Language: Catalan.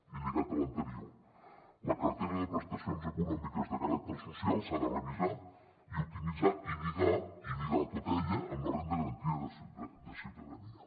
i lligat a l’anterior la cartera de presta·cions econòmiques de caràcter social s’ha de revisar i optimitzar i lligar·la tota ella amb la renda garantida de ciutadania